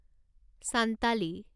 Santali